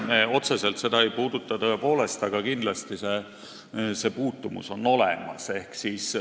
Me otseselt seda ei puuduta, tõepoolest, aga kindlasti on siin puutumus olemas.